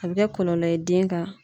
A bɛ kɛ kɔlɔlɔ ye den kan.